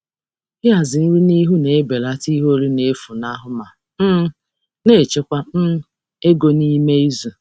Ịhazi nri n'ihu na-ebelata ihe oriri na-efunahụ ma oriri na-efunahụ ma na-echekwa ego n'ime izu.